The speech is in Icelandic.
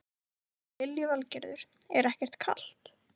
Lillý Valgerður: Er ekkert kalt?